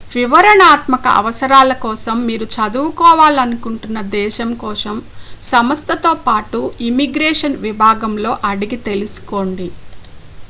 వివరణాత్మక అవసరాల కోసం మీరు చదువుకోవాలనుకుంటున్న దేశం కోసం సంస్థతో పాటు ఇమ్మిగ్రేషన్ విభాగంలో అడిగి తెలుసుకోండి